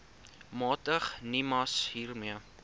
magtig nimas hiermee